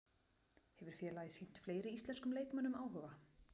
Hefur félagið sýnt fleiri íslenskum leikmönnum áhuga?